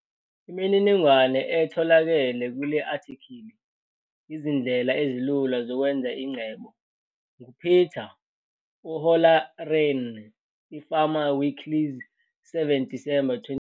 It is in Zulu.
Imininingwane etholakele kule athikhili 'Izindlela ezilula zokwenza ingcebo' ngu-Peter O'Halloran - i-Farmer's Weekly 7 Disemba 2018.